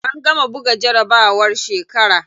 An gama buga jarabawar shekara.